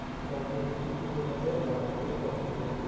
transfer করে দিচ্ছি তুই ওটাতে লাগা ঠিকাছে? অসুবিধা নেই।